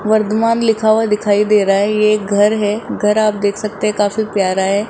वर्धमान लिखा हुआ दिखाई दे रहा है ये एक घर है घर आप देख सकते हैं काफी प्यारा है।